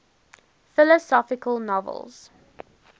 philosophical novels